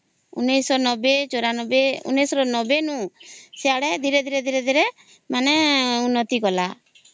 ଊଂନୈଷ ନବେ ଚଉରା ନବେ ରୁ ଊଂନୈଷ ନବେ ସିଆଡେ ଧୀରେ ଧୀରେ ମାନେ ଊଂନ୍ନତି କଲା